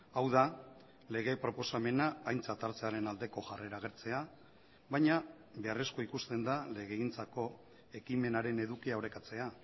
hau da lege proposamena aintzat hartzearen aldeko jarrera agertzea baina beharrezkoa ikusten da legegintzako ekimenaren edukia orekatzea